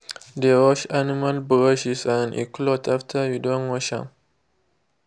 de wash animal brushes and e cloths after you don use am.